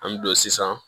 An bɛ don sisan